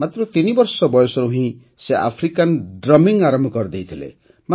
ମାତ୍ର ତିନିବର୍ଷ ବୟସରୁ ହିଁ ସେ ଆଫ୍ରିକାନ୍ ଡ୍ରମିଂ ଆରମ୍ଭ କରିଦେଇଥିଲେ